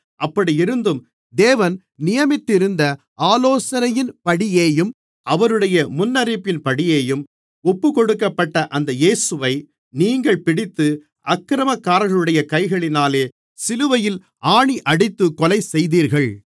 அப்படியிருந்தும் தேவன் நியமித்திருந்த ஆலோசனையின்படியேயும் அவருடைய முன்னறிவின்படியேயும் ஒப்புக்கொடுக்கப்பட்ட அந்த இயேசுவை நீங்கள் பிடித்து அக்கிரமக்காரர்களுடைய கைகளினாலே சிலுவையில் ஆணியடித்துக் கொலைசெய்தீர்கள்